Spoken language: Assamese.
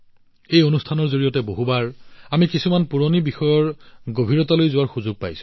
এই কাৰ্যসূচীৰ জৰিয়তে বহুবাৰ আমি কিছুমান পুৰণি বিষয়ৰ গভীৰতালৈ যোৱাৰ সুযোগ পাওঁ